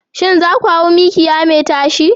Shin za ku hau mikiya mai tashi?